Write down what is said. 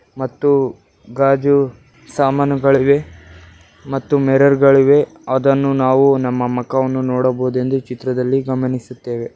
ಮತ್ತು ಗಾಜು ಸಮಾನುಗಳಿವೆ ಮತ್ತು ಮಿರರ್ ಗಳಿವೆ ಅದನ್ನು ನಾವು ನಮ್ಮ ಮಕವನ್ನು ನೋಡಬಹುದು ಎಂದು ಚಿತ್ರದಲ್ಲಿ ಗಮನಿಸುತ್ತೇವೆ.